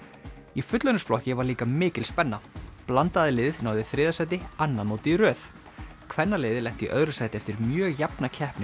í fullorðinsflokki var líka mikil spenna blandaða liðið náði þriðja sæti annað mótið í röð kvennaliðið lenti í öðru sæti eftir mjög jafna keppni